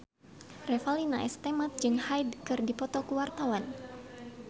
Revalina S. Temat jeung Hyde keur dipoto ku wartawan